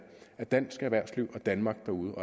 at dansk erhvervsliv og danmark derude